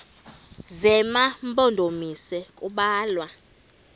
zema mpondomise kubalwa